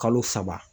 Kalo saba